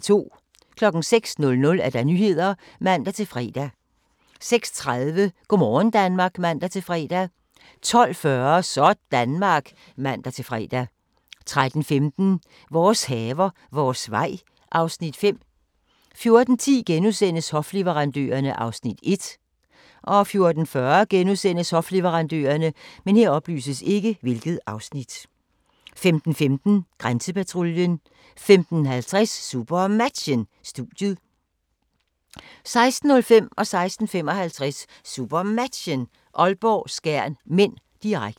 06:00: Nyhederne (man-fre) 06:30: Go' morgen Danmark (man-fre) 12:40: Sådanmark (man-fre) 13:15: Vores haver, vores vej (Afs. 5) 14:10: Hofleverandørerne (Afs. 1)* 14:40: Hofleverandørerne * 15:15: Grænsepatruljen 15:50: SuperMatchen: Studiet 16:05: SuperMatchen: Aalborg-Skjern (m), direkte 16:55: SuperMatchen: Aalborg-Skjern (m), direkte